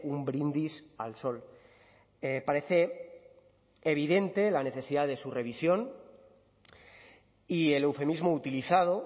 un brindis al sol parece evidente la necesidad de su revisión y el eufemismo utilizado